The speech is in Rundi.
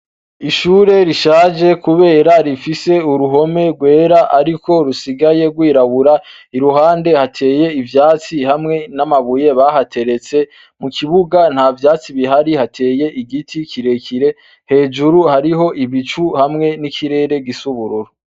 Ishure rishaje kubera rifise uruhome rwera ariko rusigaye rwirabura, iruhande hateye ivyatsi hamwe n’amabuye bahateretse, mu kibuga nta vyatsi bihari hateye igiti kirekire hejuru hariyo ibicu hamwe n’ikirere gisa ubururu.